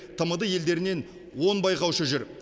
тмд елдерінен он байқаушы жүр